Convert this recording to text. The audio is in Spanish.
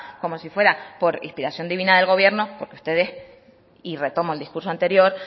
como si fuera por inspiración divina del gobierno porque ustedes y retomo el discurso anterior